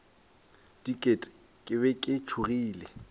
diket ke be ke tšhogile